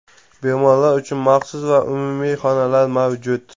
Bemorlar uchun maxsus va umumiy xonalar mavjud.